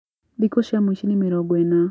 Thikũ cia mũici nĩ mĩrongo ĩna